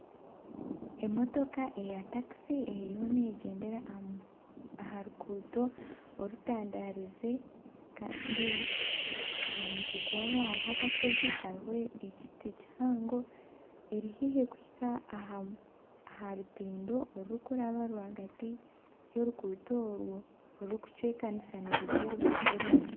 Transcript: Emotoka eya takisi eriyo negyendera aha ruguuto orutandaarize Kandi aha mutwe gwaho hariho akashozi kariho ekiti kihango eri haihi kuhika aha rutindo orurikuraba rw'agati y'oruguuto orwo orurikucwekanisa niruza orubaju orundi.